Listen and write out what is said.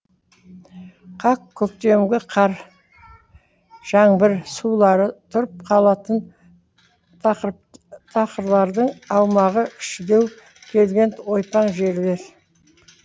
қақ көктемгі қар жаңбыр сулары тұрып қалатын тақырлардағы аумағы кішілеу келген ойпаң жерлер